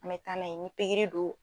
Mɛ taa n'a ye ni pikiri do.